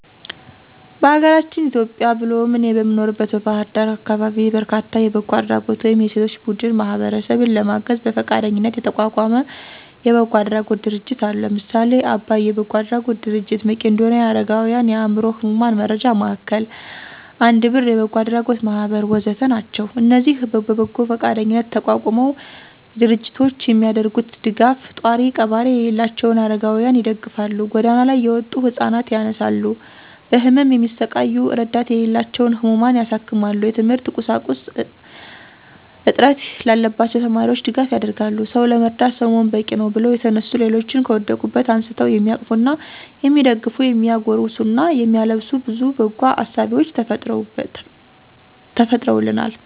በአገራችን ኢትዮጵያ ብሎም እኔ በምኖርበት በባህር ዳር አካባቢ በርካታ የበጎ አድራጎት ወይም የሴቶች ቡድን ማህበረሰብን ለማገዝ በፈቃደኝነት የተቋቋመ የበጎ አድራጎት ድርጅቶች አሉ። ለምሳሌ :- አባይ የበጎ አድራጎት ድርጅት፣ መቄዶንያ የአረጋውያንና የአዕምሮ ህሙማን መርጃ ማዕከል፣ አንድ ብር የበጎ አድራጎት ማህበር ወ.ዘ.ተ... ናቸው። እነዚህ በበጎ ፈቃደኝነት የተቋቋሙ ድርጅቶች የሚያደርጉት ደጋፍ፣ ጧሪ ቀባሪ የሌላቸውን አረጋውያንን ይደግፋል፣ ጎዳና ላይ የወጡ ህፃናት ያነሳሉ፣ በህመም የሚሰቃዩ እረዳት የሌላቸውን ህሙማን ያሳክማሉ፣ የትምህርት ቁሳቁስ እጥት ላለባቸው ተማሪዎች ድጋፍ ያደርጋሉ። «ሰው ለመርዳት ሰው መሆን በቂነው» ብለው የተነሱ ሌሎችን ከወደቁበት አንስተው የሚያቅፉና የሚደግፉ፤ የሚያጎርሱና የሚያለብሱ ብዙ በጎ አሳቢዎችም ተፈጥረውልናል።